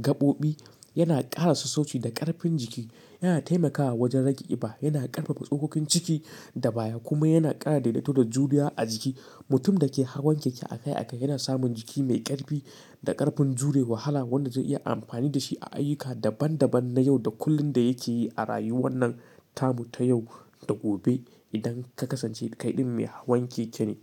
gaɓoɓi, yana ƙara sassauci da ƙarfin jiki. Yana taimakawa wajen rage ƙiba, yana ƙarfafa tsokokin ciki da baya, kuma yana ƙara daidaito da juriya a jiki. Mutum da ke hawan keke akai akai yana samun jiki mai ƙarfi, da ƙarfin jure wahala wanda zai iya amfani da shi a ayyuka daban daban na yau da kullum da yake yi a rayuwan nan tamu ta yau da gobe. Idan ka kasance kai ɗin mai hawan keke ne.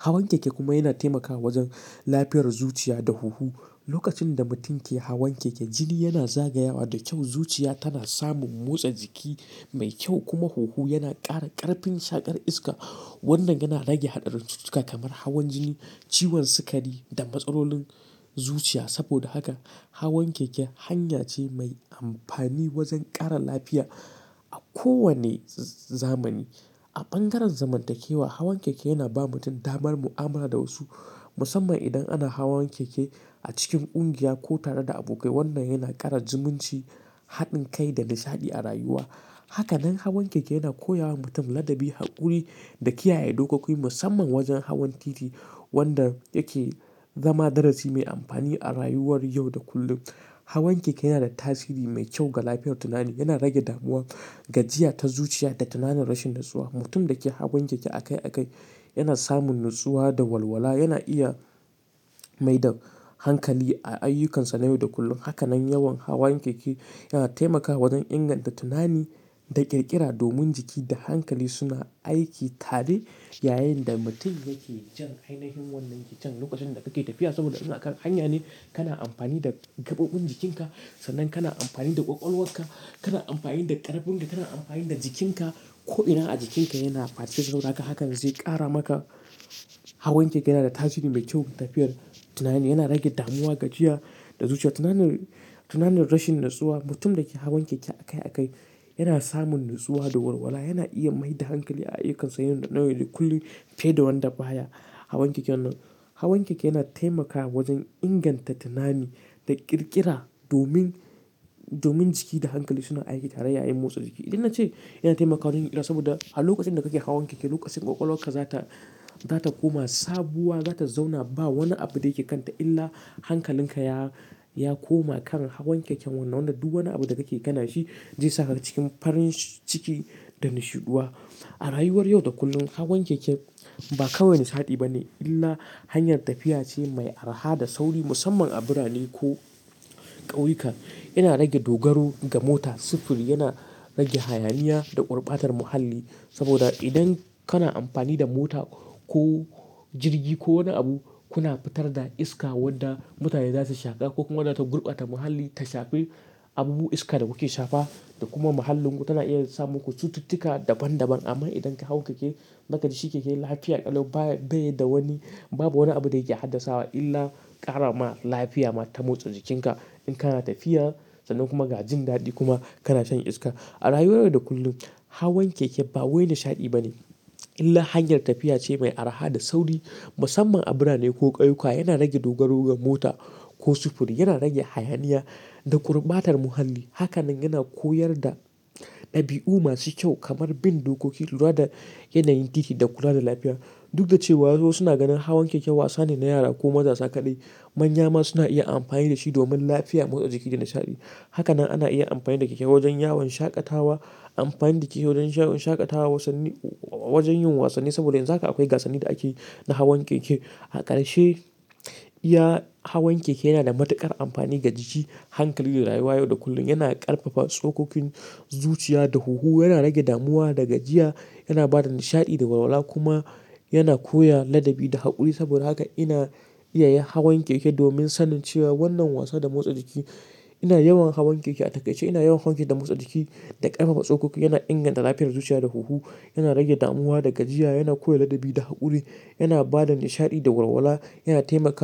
Hawan keke kuma yana taimakawa wajen lafiyar zuciya da huhu. Lokacin da mutum yake hawan keke, jini yana zagayawa da kyau. Zuciya tana samun motsa jiki mai kyau kuma huhu yana ƙara ƙarfin shaƙar iska. Wannan yana rage haɗarin cututtuka kamar hawan jini, ciwon sikari da matsarolin zuciya. Saboda haka hawan keke hanya ce mai amfani wajen ƙara lafiya a kowane zamani. A bangaren zamantakewa hawan keke yana ba mutum damar mu'amala da wasu, musamman idan ana hawan keke a cikin ƙungiya ko tare da abokai. Wannan yana ƙara zumunci, haɗin kai da nishaɗi a rayuwa. Hakanan hawan keke yana koya wa mutum ladaɓi, haƙuri da kiyaye dokoki musamman wajen hawan titi, wanda yake zama darasi mai amfani a rayuwar yau da kullum. Hawan keke yana da tasiri mai kyau ga lafiyar tunani. Yana rage damuwa, gajiya ta zuciya da tunanin rashin natsuwa. Mutum da ke hawan keke akai akai yana samun natsuwa da walwala. Yana iya mai da hankali a ayyukansa na yau da kullum. Hakanan yawan hawan keke yana taimakawa wajen inganta tunani da ƙirƙira domin jiki da hankali suna aiki tare yayin da mutum yake jan ainihin wannan keken lokacin da yake tafiya. Saboda yana hanya ne kana amfani da gaɓoɓin jikinka sannan kana amfani da ƙwaƙwalwarka, kana amfani da ƙarfin ka, kana amfani da jikinka ko'ina a jikinka yana fatan haka zai ƙara maka. Hawan keke yana da tasiri mai kyau ga tafiyar tunani. Yana rage damuwa, gajiya da zuciya, tunani, tanan ne rashin natsuwa. Mutum da yake hawan keke akai akai yana samun natsuwa da walwala. Yana iya mai da hankali a ayyukansa yau da kullum fiye da wanda baya hawan keken nan. Hawan keke yana taimakawa wajen inganta tunani da ƙirƙira domin, domin jiki da hankali suna aiki tare yayin motsa jiki. Idan na ce yana taimakawa jin ƙira saboda a lokacin da kake hawan keke, lokacin ƙwaƙwalwarka zata, zata koma sabuwa, zata zauna ba wani abu da yake kanta illa hankalinka ya, ya koma kan hawan keken wannan. Wanda duk wani abu da kake gani shi zai saka cikin farin ciki da nishiɗuwa. A rayuwar yau da kullum hawan keke ba kawai nishaɗi bane illa hanyar tafiya ce mai araha da sauri musamman a birane ko ƙauyuka. Yana rage dogaro ga mota, sufuri, yana rage hayaniya da ƙurbatar muhalli. Saboda idan kana amfani da mota ko jirgi ko wani abu, kuna fitar da iska wadda mutane za su shaƙa ko kuma wadda ta gurbata muhalli ta shafe abubuwan iska da kuke shafa da kuma muhallinku tana iya samu ku cututtuka daban daban. Amma idan ka hau keke, naka ji keke lafiya ƙalau baye da wani babu wani abu da yake haddasawa illa ƙara ma lafiya ma ta motsa jikinka. In kana tafiya, sannan kuma ga jin daɗi kuma kana shan iska. A rayuwar yau da kullum hawan keke ba wani nishaɗi bane, illa hanyar tafiya ce mai arha da sauri musamman a birane ko ƙauyuka. Yana rage dogaro ga mota ko sufuri, yana rage hayaniya da ƙurbatar muhalli. Hakanan yana koyar da ɗabi'u masu kyau, kamar bin dokoki, lura da yanayin titi da kula da lafiya. Duk da cewa wasu suna ganin hawan keke wasa ne na yara ko mazauka dai manya ma suna iya amfani da shi domin lafiya, motsa jiki da nishaɗi. Hakanan ana iya amfani da keke wajen yawon shaƙatawa, amfani da keke wajen yawon shaƙatawa, wasanni, wajen yin wasanni. Saboda yanzu haka akwai gasanni da ake na hawan keke. A ƙarshe iya hawan keke yana da matuƙar amfani ga jiki, hankali da rayuwa yau da kullum. Yana ƙarfafa tsokokin zuciya da huhu, yana rage damuwa da gajiya, yana ba da nishaɗi da walwala kuma yana koya ladabi da haƙuri. Saboda haka ina iya hawan keke domin sanin cewa wannan wasa da motsa jiki ina yawan hawan keke. A takaice ina yawan hawan keke da motsa jiki da ƙarfafa tsokoki. Yana inganta lafiyar zuciya da huhu, yana rage damuwa da gajiya, yana koya ladabi da haƙuri, yana ba da nishaɗi da walwala, yana taimaka.